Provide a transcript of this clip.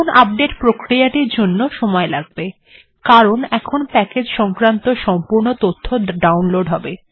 এখন আপডেট্ প্রক্রিয়াটির জন্য সময় লাগবে কারণ এখন প্যাকেজ্ সংক্রান্ত সম্পূর্ণ তথ্য ডাউনলোড্ হবে